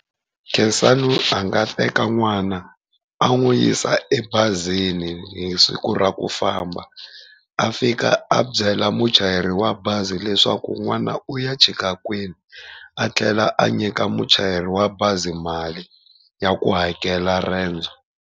Khensani a nga teka n'wana a n'wi yisa ebazini hi siku ra ku famba, a fika a byela muchayeri wa bazi leswaku n'wana u ya chika kwini a tlhela a nyika muchayeri wa bazi mali ya ku hakela rendzo.